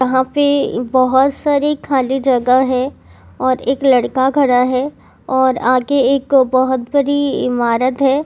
यहा पे बहुत सारी खाली जगह है और एक लड़का खड़ा है और आगे एक बहुत बड़ी इमारत है।